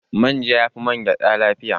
Manja ya fi man gyaɗa lafiya